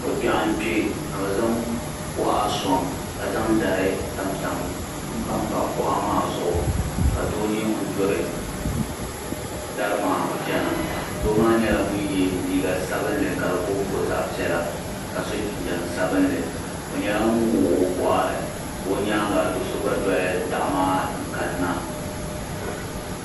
Ko kpɛɣu n kpɛ k bi zaŋ kuɣa sɔŋ ka zaŋ dari mpam pa kuɣa maa zuɣu ka doo nyɛ ŋuni duri dari maa chɛna doo maa nyɛla ŋuni ye liiga sabinli ka di bo n bo zaɣi piɛlla ka so jinjam sabinli o nyɛla ŋuni wɔɣi o bɔɣiri ka o yɛanga doo so gba doli daɣu maa n kani na.